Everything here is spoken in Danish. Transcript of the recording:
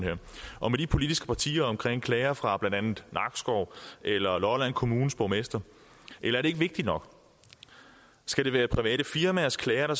her og med de politiske partier om klager fra blandt andet nakskov eller lolland kommunes borgmester er det ikke vigtigt nok skal det være private firmaers klager der